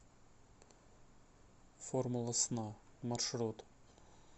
формула сна маршрут